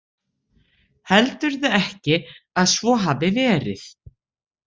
Heldurðu ekki að svo hafi verið?